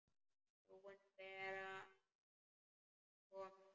Frúin Bera kom ekki.